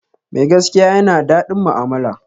Mai gaskiya ya na daɗin mu'amala